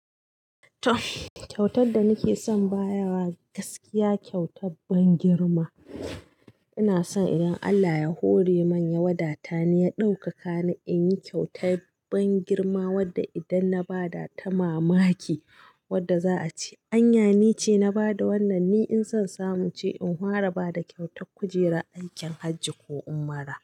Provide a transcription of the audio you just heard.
Kyautar da nake son bayarwa gaskiya kyauta ban girma. Ina son idan Allah ya hore man ya wadata ni ya ɗaukaka ni in yi kyauta ban girma wadda idan na ba ta mamaki Wadda za a ce anya ni ce na ba da wannan ni in son samu ce in fara ba da kyautar kujera aikin hajji ko ummara.